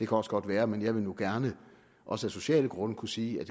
også godt være men jeg vil nu gerne også af sociale grunde kunne sige at